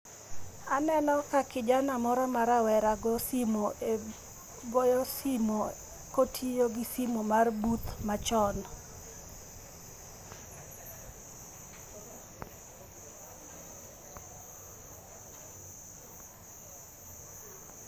Aneno ka kijana moro ma rawera goyo simu e, go simu kotiyo gi simu mar booth machon .